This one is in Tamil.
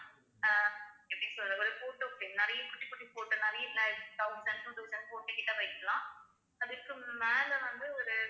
அஹ் எப்படி சொல்றது ஒரு photo frame நிறைய குட்டி குட்டி photo நிறைய like thousand two thousand photo கிட்ட போயிக்கலாம் அதுக்கு மேலே வந்து ஒரு